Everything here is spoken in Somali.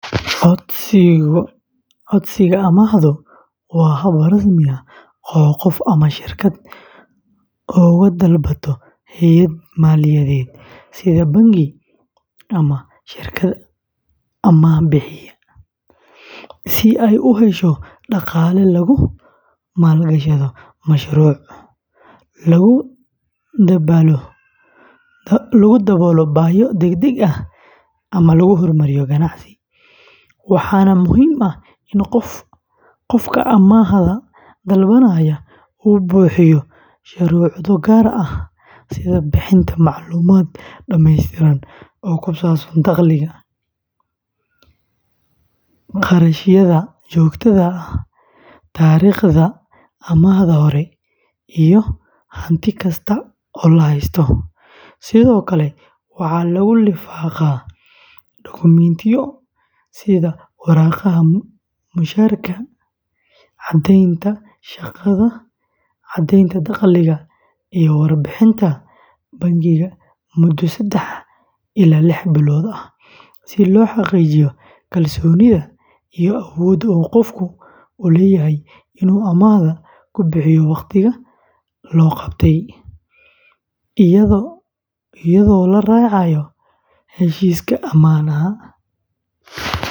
Codsiga amaahdu waa hab rasmi ah oo qof ama shirkad uga dalbato hay’ad maaliyadeed sida bangi ama shirkad amaah-bixiye ah si ay u hesho dhaqaale lagu maalgashado mashruuc, lagu daboolo baahiyo degdeg ah, ama lagu hormariyo ganacsi, waxaana muhiim ah in qofka amaahda dalbanaya uu buuxiyo shuruudo gaar ah sida bixinta macluumaad dhameystiran oo ku saabsan dakhliga, kharashyada joogtada ah, taariikhda amaahda hore, iyo hanti kasta oo la haysto; sidoo kale, waxaa lagu lifaaqaa dokumentiyo sida warqadaha mushaharka, caddaynta shaqada, caddeynta dakhliga, iyo warbixinta bangiga muddo saddex ilaa lix bilood ah si loo xaqiijiyo kalsoonida iyo awoodda uu qofku u leeyahay inuu amaahda ku bixiyo wakhtiga loo qabtay iyadoo la raacayo heshiiska amaahda.